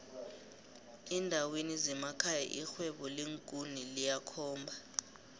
endaweni zemekhaya irhwebo leenkuni liyakhomba